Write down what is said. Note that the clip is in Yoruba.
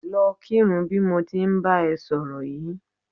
Lọ kírun bí mo ti ń bá ẹ sọ̀rọ̀ yìí